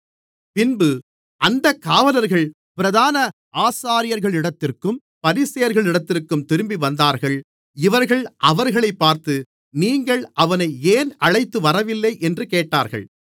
பின்பு அந்தக் காவலர்கள் பிரதான ஆசாரியர்களிடத்திற்கும் பரிசேயர்களிடத்திற்கும் திரும்பிவந்தார்கள் இவர்கள் அவர்களைப் பார்த்து நீங்கள் அவனை ஏன் அழைத்து வரவில்லை என்று கேட்டார்கள்